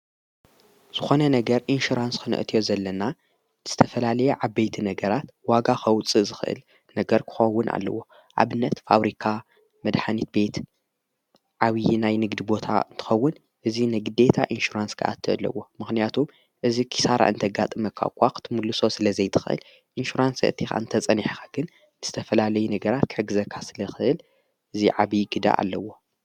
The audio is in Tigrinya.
ዝኾነ ነገር ኢንሽራንስ ክነእትዮ ዘለና ድስተፈላለየ ዓበይቲ ነገራት ዋጋ ኸውፅ ዝኽእል ነገር ክኾውን ኣለዎ ኣብነት ፋብሪካ መድኃኒት ቤት ዓውዪ ናይ ንግድ ቦታ እንትኸውን እዙይ ነግደታ ኢንሽራንስ ግኣቲ ኣለዎ። ምኽንያቱም እዝ ኺሣራ እንተጋጥ መኳ ቋኽትምልሶ ስለ ዘይትኽእል ኢንሸራንስ እቲኻ እንተ ጸኒኻ ግን ንስተፈላለይ ነገራት ከሕግዘካስሊ ኽእል እዙ ዓብዪ ግዳ ኣለዎ